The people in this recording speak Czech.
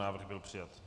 Návrh byl přijat.